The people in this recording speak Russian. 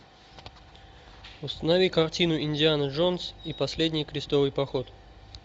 установи картину индиана джонс и последний крестовый поход